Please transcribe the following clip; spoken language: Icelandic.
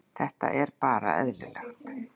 Þetta er bara eðlilegt.